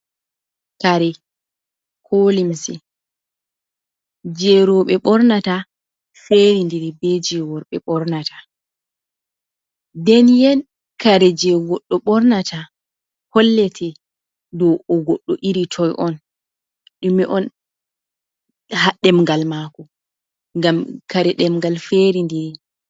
Kare ko limse jey rowɓe ɓornata, ferindiri be jey worɓe ɓornata. Nden yen kare jey goɗɗo ɓornata, hollete ɗo o goɗɗo iri toy on, ɗume on haa ɗemgal maako ? ngam kare ɗemgal ferindiri.